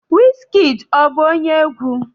Wizkid ọ bụ onye egwu?